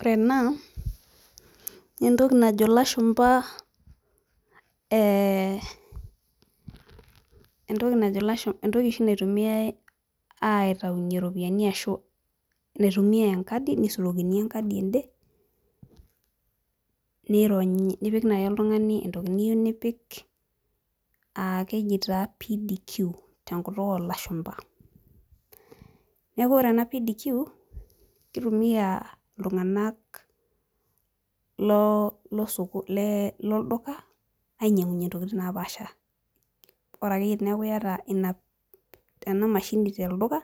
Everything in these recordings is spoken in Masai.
Ore ena nentoki najo ilashumpa eh entoki najo ilashumpa entoki oshi naitumiae aitaunyie iropiani ashu naitumia enkadi nisurokini enkadi ende nironyi nipik naaji oltung'ani entoki niyieu nipik uh keji taa PDQ tenkutuk olashumpa niaku ore ena PDQ kitumia iltung'anak loo losoko le lolduka ainyiang'unyie intoking napaasha ore akeyie teneeku iyata ina ena mashini telduka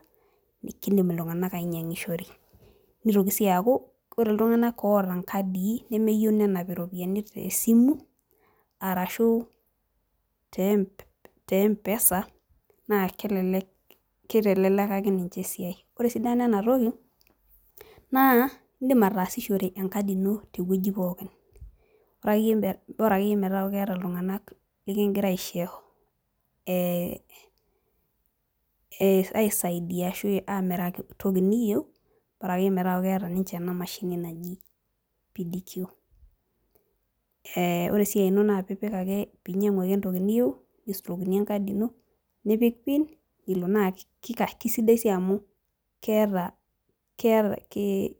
kindim iltung'anak ainyiang'ishore nitoki sii aaku ore iltung'anak oota inkadii nemeyieu nenap iropiyiani te simu arashu tem te mpesa naa kelelek kitelelekaki ninche esiai ore esidano enatoki naa indim ataasishore enkadi ino tewueji pookin ore akeyie me bora akeyie metaaku keeta iltung'anak likingira aisho eh eh aisaidia ashu amiraki toki niyieu bora akeyie metaaku keeta ninche ena mashini naji PDQ ore esiai ino naa piipik ake pinyiang'u ake entoki niyieu nisurokini enkadi ino nipik pin nilo naa kika kisidai sii amu ke keeta kee.